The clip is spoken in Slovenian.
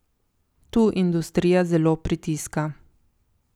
Tu industrija zelo pritiska.